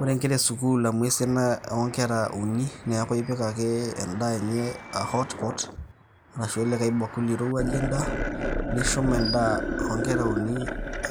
Ore nkera esukuul amu esiana onkera uni, neeku ipik ake endaa enye a hotpot ,arashu olikae bakuli oirowuaje endaa. Nishum endaa onkera uni,